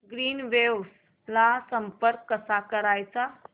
Greenwaves ला संपर्क कसा करायचा